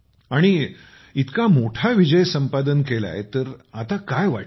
आणि इतका मोठा विजय संपादन केला तर आता काय वाटतं आहे